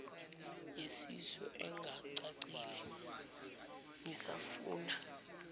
yesisu ingacacile ngisafuna